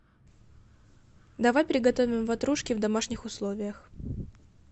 давай приготовим ватрушки в домашних условиях